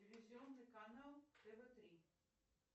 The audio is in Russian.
телевизионный канал тв три